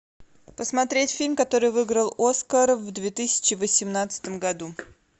посмотреть фильм который выиграл оскар в две тысячи восемнадцатом году